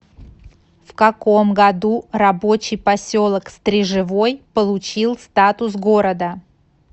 в каком году рабочий поселок стрежевой получил статус города